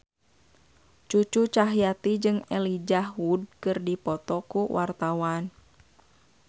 Cucu Cahyati jeung Elijah Wood keur dipoto ku wartawan